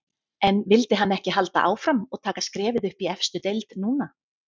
En vildi hann ekki halda áfram og taka skrefið upp í efstu deild núna?